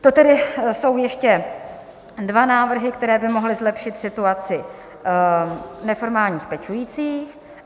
To tedy jsou ještě dva návrhy, které by mohly zlepšit situaci neformálních pečujících.